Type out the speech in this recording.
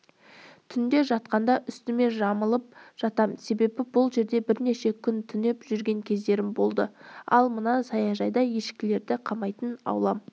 түнде жатқанда үстіме жамылып жатам себебі бұл жерде бірнеше күн түнеп жүрген кездерім болды ал мына саяжайда ешкілерді қамайтын аулам